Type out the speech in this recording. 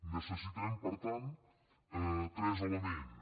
necessitem per tant tres elements